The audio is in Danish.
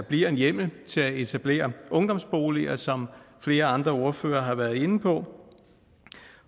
bliver en hjemmel til at etablere ungdomsboliger som flere andre ordførere har været inde på